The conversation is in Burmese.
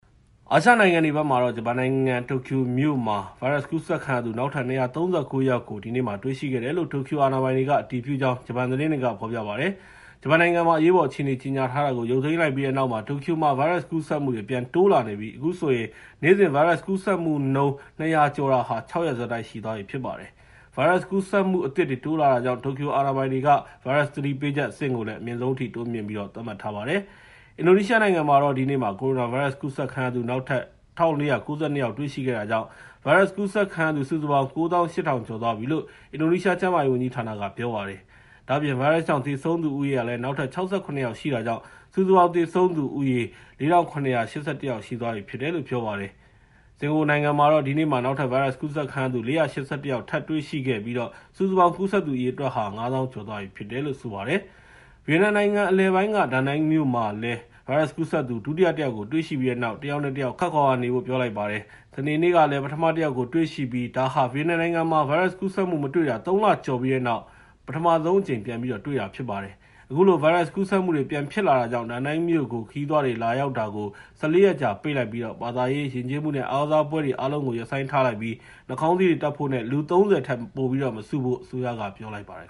အာရှနိုင်ငံတွေဘက်မှာတော့ ဂျပန်နိုင်ငံ တိုကျိုမြို့မှာ ဗိုင်းရပ်စ်ကူးစက်ခံရသူ နောက်ထပ် ၂၃၉ ယောက်ကို ဒီနေ့မှာ တွေ့ရှိခဲ့တယ်လို့ တိုကျိုအာဏာပိုင်တွေက အတည်ပြုကြောင်း ဂျပန်သတင်းတွေက ဖော်ပြပါတယ်။ ဂျပန်နိုင်ငံမှာ အရေးပေါ်အခြေအနေ ကြေညာထားတာကို အာဏာပိုင်တွေက ရုပ်သိမ်းလိုက်ပြီးတဲ့နောက် တိုကျိုမြို့မှာ ဗိုင်းရပ်စ်ကူးစက်မှုတွေ ပြန်တိုးလာနေတာဖြစ်ပြီး အခုဆိုရင် နေ့စဉ် ဗိုင်းရပ်စ်ကူးစက်မှုနှုန်း ၂၀၀ ကျော်တာဟာ ၆ ရက်ဆက်တိုက်ရှိသွားပြီ ဖြစ်ပါတယ်။ အခုလို ဗိုင်းရပ်စ်ကူးစက်မှုအသစ်တွေ တိုးလာနေတာကြောင့် တိုကျိုအာဏာပိုင်တွေက ဗိုင်းရပ်စ်သတိပေးချက်အဆင့်ကို အမြင့်ဆုံးအထိ တိုးမြှင့်ပြီးတော့ သတ်မှတ်ထားပါတယ်။ အရှေ့တောင်အာရှနိုင်ငံတွေ ဘက်မှာလည်း ဗိုင်းရပ်စ်ကူးစက်မှုတွေ တိုးလာခဲ့ပြီး အင်ဒိုနီးရှားနိုင်ငံမှာတော့ ဒီနေ့မှာ ကိုရိုနာဗိုင်းရပ်စ် ကူးစက်ခံရသူ နောက်ထပ် ၁,၄၉၂ ယောက် တွေ့ရှိခဲ့တာကြောင့် ဗိုင်းရပ်စ်ကူးစက်ခံရသူ စုစုပေါင်း ၉၈,၀၀၀ ကျော်သွားပြီလို့ အင်ဒိုနီးရှား ကျန်းမာရေးဝန်ကြီးဌာနက ပြောပါတယ်။ ဒါ့အပြင် ဗိုင်းရပ်စ်ကြောင့် သေဆုံးသူ နောက်ထပ် ၆၇ ယောက်ရှိတာကြောင့် စုစုပေါင်း သေဆုံးသူ အရေအတွက်ဟာ ၄,၇၈၁ ယောက်ရှိတယ်လို့ ပြောပါတယ်။ ဒါ့အပြင် စင်ကာပူနိုင်ငံမှာလည်း ဒီနေ့မှာ နောက်ထပ် ဗိုင်းရပ်စ်ကူးစက်ခံရသူ ၄၈၁ ယောက် ထပ်ပြီး တွေ့တာကြောင့် စုစုပေါင်း ကူးစက်သူ အရေအတွက်ဟာ ၅၀,၀၀၀ ကျော်သွားပြီဖြစ်တယ်လို့ ပြောပါတယ်။ ဒါ့အပြင် ဗီယက်နမ်နိုင်ငံ အလယ်ပိုင်းက Danang မြို့မှာလည်း ဗိုင်းရပ်စ်ကူးစက်သူ ဒုတိယတယောက်ကို တွေ့ရှိပြီးတဲ့နောက် တယောက်နဲ့တယောက် ခပ်ခွာခွာနေကြဖို့ ပြောလိုက်ပါတယ်။ စနေနေ့ကလည်း ပထမတယောက်ကို တွေ့ရှိခဲ့ပြီး ဒါဟာ ဗီယက်နမ်နိုင်ငံမှာ ဗိုင်းရပ်စ်ကူးစက်မှု မတွေ့ရှိတာ ၃ လကျော်ပြီးတဲ့နောက် ဒါဟာ ပထမဆုံး ပြန်တွေ့ရှိတာ ဖြစ်ပါတယ်။ အခုလို ဗိုင်းရပ်စ်ကူးစက်မှုတွေ ပြန်ဖြစ်လာတာကြောင့် Danang မြို့ကို ခရီးသွားတွေ လာရောက်တာကို ၁၄ ရက်ကြာ ပိတ်ပြီး ဘာသာရေး၊ ယဉ်ကျေးမှုနဲ့ အားကစားပွဲတွေ အားလုံးကို ရပ်ဆိုင်းထားလိုက်ပြီး နှာခေါင်းစည်းတွေတပ်ဖို့နဲ့ လူ ၃၀ ထက် ပိုမစုဖို့ အစိုးရက ပြောလိုက်ပါတယ်